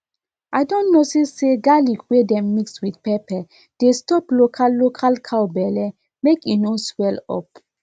i don notice say garlic wey dem mix with pepper dey stop local local cow belle make e no swell up